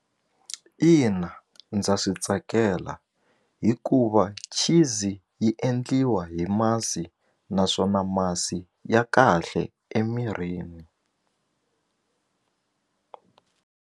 Ina ndza swi tsakela hikuva cheese yi endliwa hi masi naswona masi ya kahle emirini.